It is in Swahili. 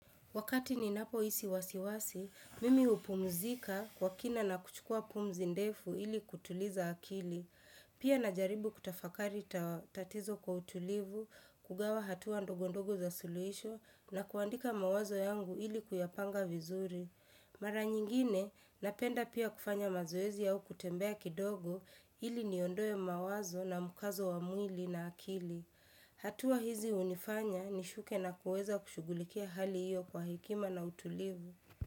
Wakati ninapoisi wasiwasi, mimi hupumzika kwa kina na kuchukua pumzi ndefu ili kutuliza akili. Pia najaribu kutafakari tatizo kwa utulivu, kugawa hatua ndogondogo za suluhisho na kuandika mawazo yangu ili kuyapanga vizuri. Mara nyingine, napenda pia kufanya mazoezi au kutembea kidogo ili niondoe mawazo na mukazo wa mwili na akili. Hatua hizi hunifanya nishuke na kuweza kushughulikia hali hiyo kwa hekima na utulivu.